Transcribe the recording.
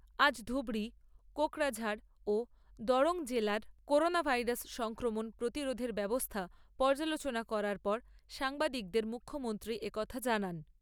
আজ ধুবড়ী, কোকড়াঝাড় ও দরং জেলার করোনা ভাইরাস সংক্রমণ প্রতিরোধের ব্যবস্থা পর্যালোচনা করার পর সাংবাদিকদের মুখ্যমন্ত্রী এ কথা জানান।